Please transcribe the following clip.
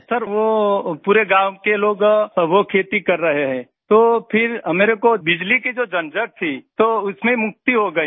sir वो पूरे गाँव के लोग वो खेती कर रहे हैं तो फिर हमारे को बिजली की जो झंझट थी तो उसमें मुक्ति हो गई है